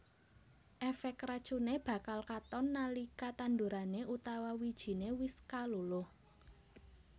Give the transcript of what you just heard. Efek racune bakal katon nalika tandurane utawa wijine wis kaluluh